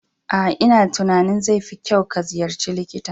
A'a, una tunanin zai fi kyau ka ziyarci likita.